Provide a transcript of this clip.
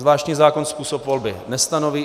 Zvláštní zákon způsob volby nestanoví.